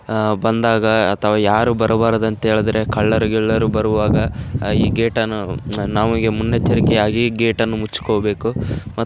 ಆಹ್ಹ್ ಬಂದಾಗ ಅಥವಾ ಯಾರು ಬರಬಾರದು ಅಂತ ಹೇಳಿದರೆ ಕಳ್ಳರು ಗಿಳ್ಳರು ಬರುವಾಗ ಈ ಗೇಟ್ ಅನ್ನು ನಮಗೆ ಮುನ್ನೆಚ್ಚರಿಕೆಯಾಗಿ ಈ ಗೇಟ್ ಅನ್ನು ಮುಚ್ಕೋಬೇಕು. ಮ --